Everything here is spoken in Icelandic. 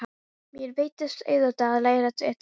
Mér veittist auðvelt að læra utanbókar.